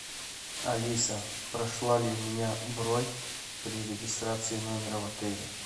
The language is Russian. алиса прошла ли у меня бронь при регистрации номера в отеле